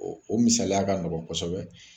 O misaliya ka nɔgɔ kosɛbɛ